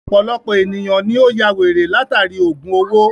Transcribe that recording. Ọ̀pọ̀lọpọ̀ èniyàn ni ó yá wèrè látàri ògùn owó.